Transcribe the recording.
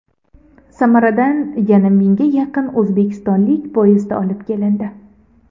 Samaradan yana mingga yaqin o‘zbekistonlik poyezdda olib kelindi.